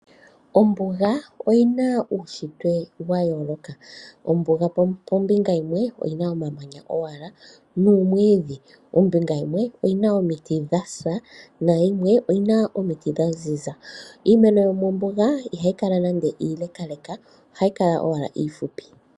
Ombuga oyina uushitwe wayooloka , ombuga ombinga yimwe oyina omamanya owala noomwidhi, ombinga yimwe oyina omiti dhasa nayimwe oyina omiti dhaziza iimeno yomombuga ihayi kala nande iileleka ohayi kala owala ifupi.